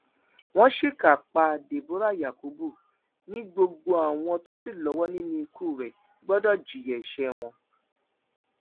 wọn ṣìkà pa deborah yakubu ni gbogbo àwọn tó ṣì lọwọ nínú ikú rẹ gbọdọ jìyà ẹṣẹ wọn